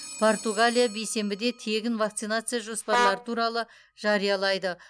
португалия бейсенбіде тегін вакцинация жоспарлары туралы жариялайды